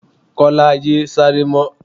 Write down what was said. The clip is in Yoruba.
Kọ́lá! yé sáré mọ́.